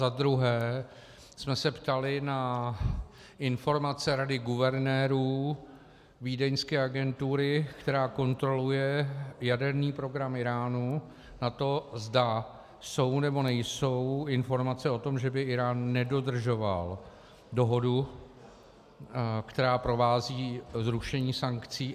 Za druhé jsme se ptali na informace rady guvernérů vídeňské agentury, která kontroluje jaderný program Íránu, na to, zda jsou, nebo nejsou informace o tom, že by Írán nedodržoval dohodu, která provází zrušení sankcí.